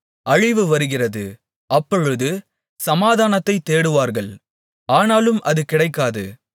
அழிவு வருகிறது அப்பொழுது சமாதானத்தைத் தேடுவார்கள் ஆனாலும் அது கிடைக்காது